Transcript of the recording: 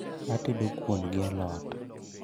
Atedo kuon gi alot